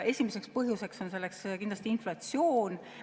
Esimeseks põhjuseks on kindlasti inflatsioon.